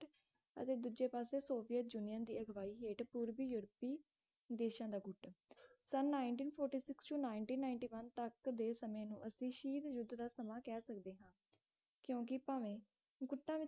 ਅਤੇ ਦੂਜੇ ਪਾਸੇ ਸੋਵੀਅਤ ਜਰਮਨ ਦੀ ਅਗਵਾਈ ਹੇਠ ਪੂਰਬੀ ਯੂਰਪੀ ਦੇਸ਼ਾਂ ਦਾ ਗੁੱਟ ਸੰਨ nineteen forty six to nineteen ninety one ਤੱਕ ਦੇ ਸਮੇਂ ਨੂੰ ਅਸੀਂ ਸ਼ੀਤ ਯੁੱਧ ਦਾ ਸਮਾਂ ਕਹਿ ਸਕਦੇ ਹਾਂ ਕਿਓਂਕਿ ਭਾਵੇਂ